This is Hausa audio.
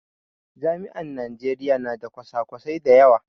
Jami'an Najeriya na da kwasa kwasai da yawa